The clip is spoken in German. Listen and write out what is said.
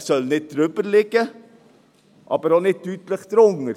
Er soll nicht darüber liegen, aber auch nicht deutlich darunter.